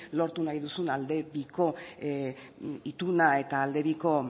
lortu nahi duzun alde biko ituna eta alde biko